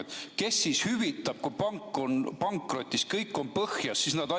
Aga kes kahju hüvitab, kui pank on pankrotis, kõik on põhjas?